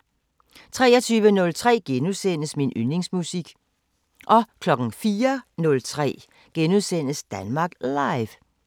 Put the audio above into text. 03:03: Min Yndlingsmusik * 04:03: Danmark Live *